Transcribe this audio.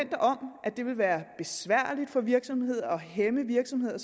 det vil være besværligt for virksomheder og hæmme virksomheder